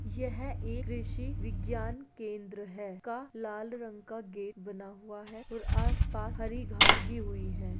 यह एक कृषिबिज्ञान केंद्र है का लाल रंग का गेट बना हुआ है और आस पास हरी घास उगी हुई है।